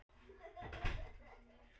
Birna og Elsa.